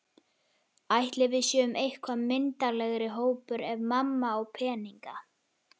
Ætli við séum eitthvað myndarlegri hópur ef mamma á peninga?